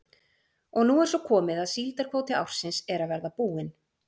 Og nú er svo komið að síldarkvóti ársins er að verða búinn.